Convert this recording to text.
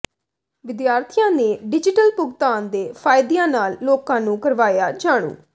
ਵਿਦਿਆਰਥੀਆਂ ਨੇ ਡਿਜੀਟਲ ਭੁਗਤਾਨ ਦੇ ਫ਼ਾਇਦਿਆਂ ਨਾਲ ਲੋਕਾਂ ਨੂੰ ਕਰਵਾਇਆ ਜਾਣੂ